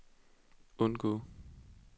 undgå